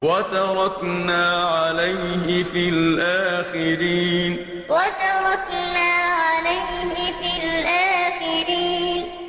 وَتَرَكْنَا عَلَيْهِ فِي الْآخِرِينَ وَتَرَكْنَا عَلَيْهِ فِي الْآخِرِينَ